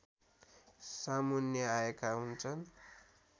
सामुन्ने आएका हुन्छ्न्